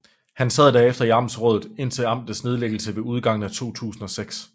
Han sad derefter i amtsrådet indtil amtets nedlæggelse ved udgangen af 2006